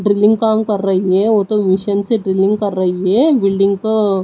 drilling काम कर रही है वो तो मिशन से ड्रिलिंग कर रही है बिल्डिंग को--